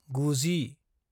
गुजि